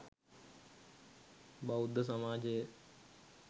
බෞද්ධ සමාජය